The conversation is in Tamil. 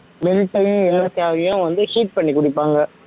mint டயு ஏலைக்காவையும் வந்து heat பண்ணி குடிப்பாங்க